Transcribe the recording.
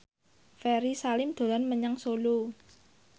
Ferry Salim dolan menyang Solo